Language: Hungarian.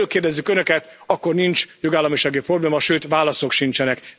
Amikor erről kérdezzük önöket, akkor nincs jogállamisági probléma, sőt válaszok sincsenek.